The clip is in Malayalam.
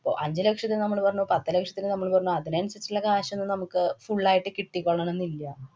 ഇപ്പൊ അഞ്ചു ലക്ഷത്തിനു നമ്മള് പറഞ്ഞു. പത്ത് ലക്ഷത്തിനു നമ്മള് പറഞ്ഞു. അതിനനുസരിച്ചുള്ള കാശ് ഒന്നും നമുക്ക് full ആയിട്ട് കിട്ടികൊള്ളണംന്നില്ല.